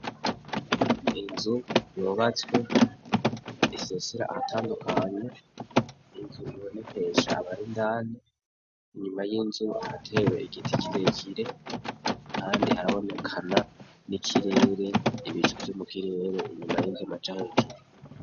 Inzu yubatswe esesera ahatandukanya ninku ibonekesha abarindane inyuma y'inzu ratewe igiti kirekire, kandi harabonekana n'ikirere ibicu vyo mu kirere inyuma y'inzuma ja ahejuru.